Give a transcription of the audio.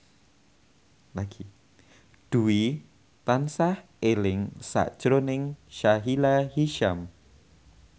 Dwi tansah eling sakjroning Sahila Hisyam